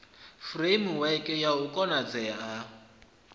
furemiweke ya u konadzea ha